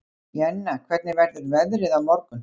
Jenna, hvernig verður veðrið á morgun?